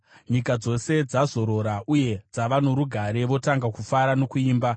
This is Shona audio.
Nyika dzose dzazorora uye dzava norugare; votanga kufara nokuimba.